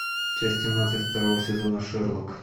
часть семнадцать второго сезона шерлок